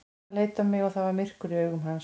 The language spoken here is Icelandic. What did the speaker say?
Hann leit á mig og það var myrkur í augum hans.